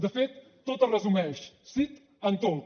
de fet tot es resumeix sí en tot